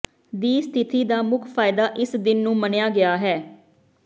ਦੀ ਸਥਿਤੀ ਦਾ ਮੁੱਖ ਫਾਇਦਾ ਇਸ ਦਿਨ ਨੂੰ ਮੰਨਿਆ ਗਿਆ ਹੈ